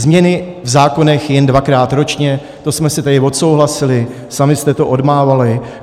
Změny v zákonech jen dvakrát ročně - to jsme si tady odsouhlasili, sami jste to odmávali.